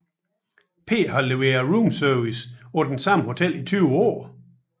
P har leveret roomservice på det samme hotel i 20 år